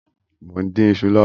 Mọ n dín iṣu lọwọ